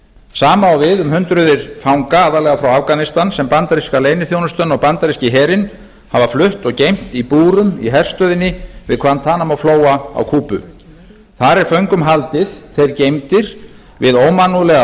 sama á við um hundruð fanga aðallega frá afganistan sem bandaríska leyniþjónustan og bandaríski herinn hafa flutt og geymt í búrum í herstöðinni við gvantanamoflóa á kúbu þar er föngum haldið þeir geymdir við ómannúðlegar